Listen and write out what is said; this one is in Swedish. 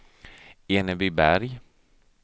Enebyberg